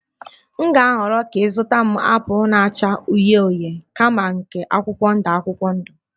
M ga-ahọrọ ka ị zụta m apụl na-acha uhie uhie kama nke akwụkwọ ndụ akwụkwọ ndụ